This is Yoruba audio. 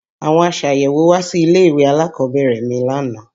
Àwọn aṣàyẹ̀wò wá sí ilé-ìwé alákọ̀ọ́bẹ̀rẹ̀ mi lánàá